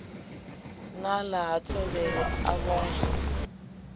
nala ha thovhele a vhongo